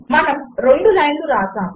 మనము రెండు లైన్లు వ్రాసాము